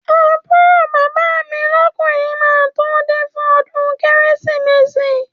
Àbúrò bàbá mi lọ́kùnrin máa tó de fún ọdún Kérésìmesì